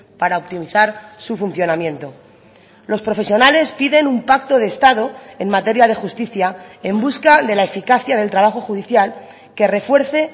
para optimizar su funcionamiento los profesionales piden un pacto de estado en materia de justicia en busca de la eficacia del trabajo judicial que refuerce